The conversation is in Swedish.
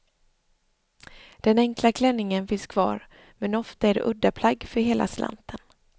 Den enkla klänningen finns kvar men ofta är det uddaplagg för hela slanten.